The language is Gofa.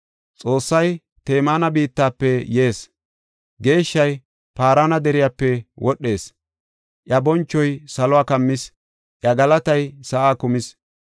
Xoossay Temaana biittafe yees; Geeshshay Paarana deriyape wodhees. Iya bonchoy saluwa kammis; iya galatay sa7aa kumis.